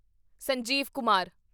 Sanjeev Kumar